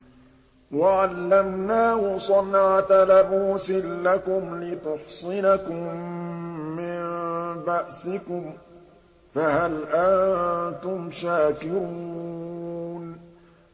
وَعَلَّمْنَاهُ صَنْعَةَ لَبُوسٍ لَّكُمْ لِتُحْصِنَكُم مِّن بَأْسِكُمْ ۖ فَهَلْ أَنتُمْ شَاكِرُونَ